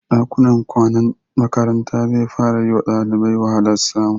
Ɗakunan kwanan makaranta zai fara yi wa ɗalibai wahalar samu.